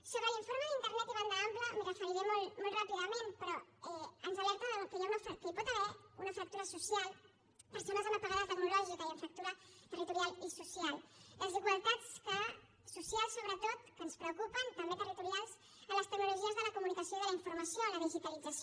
sobre l’informe d’internet i banda ampla m’hi referiré molt ràpidament però ens alerta que hi pot haver una fractura social persones amb apagada tecnològica i amb fractura territorial i social desigualtats socials sobretot que ens preocupen també territorials en les tecnologies de la comunicació i de la informació en la digitalització